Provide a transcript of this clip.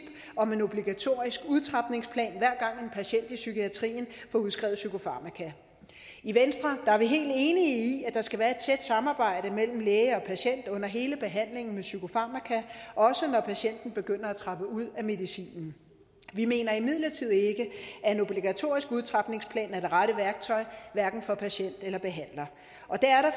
om en obligatorisk udtrapningsplan hver gang patient i psykiatrien får udskrevet psykofarmaka i venstre er vi helt enige i at der skal være et tæt samarbejde mellem læge og patient under hele behandlingen med psykofarmaka også når patienten begynder at trappe ud af medicinen vi mener imidlertid ikke at en obligatorisk udtrapningsplan er det rette værktøj hverken for patienter eller behandlere og det er